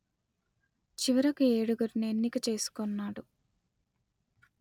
చివరకు ఏడుగురిని ఎన్నిక చేసుకొన్నాడు